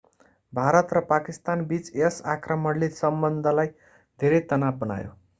भारत र पाकिस्तानबीच यस आक्रमणले सम्बन्धलाई धेरै तनाव बनायो